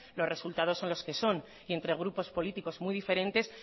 los resultados son los que son y entre grupos políticos muy diferentes